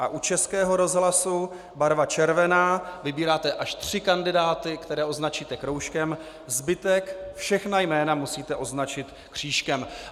A u Českého rozhlasu barva červená, vybíráte až tři kandidáty, které označíte kroužkem, zbytek, všechna jména, musíte označit křížkem.